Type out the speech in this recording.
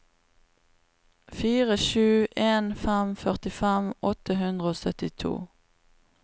fire sju en fem førtifem åtte hundre og syttito